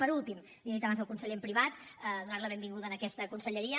per últim l’hi he dit abans al conseller en privat donar li la benvinguda a aquesta conselleria